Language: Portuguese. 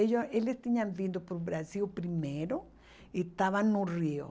Eles tinham vindo para o Brasil primeiro e estavam no Rio.